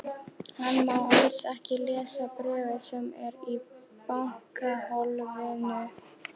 Hann má alls ekki lesa bréfið sem er í bankahólfinu.